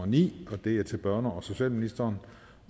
ni og det er til børne og socialministeren